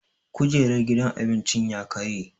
Kujerar gidan cin abincin ya karye